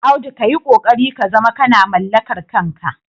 Audu ka yi ƙoƙari ka zama kana mallakar kanka.